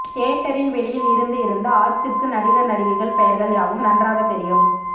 தியேட்டரின் வெளியில் இருந்து இருந்து ஆச்சிக்கு நடிகர் நடிகைகள் பெயர்கள் யாவும் நன்றாக தெரியும்